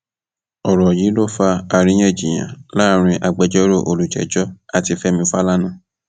ọrọ yìí ló fa àríyànjiyàn láàrin àwọn agbẹjọrò olùjẹjọ àti fẹmi fàlànà